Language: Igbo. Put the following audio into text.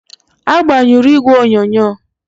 Agbanyụrụ igwe onyonyo?